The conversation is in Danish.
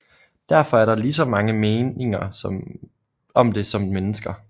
Derfor er der ligeså mange meninger om det som mennesker